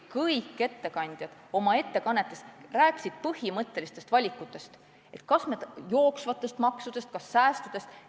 Kõik ettekandjad rääkisid oma ettekannetes põhimõttelistest valikutest, kas jooksvatest maksudest või säästudest.